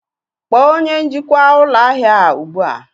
Kpọọ onye njikwa ụlọ ahịa a ugbu a!